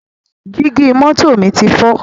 Jígí mọ́tò mi ti fọ́